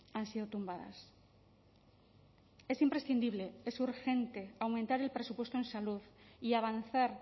han sido tumbadas es imprescindible es urgente aumentar el presupuesto en salud y avanzar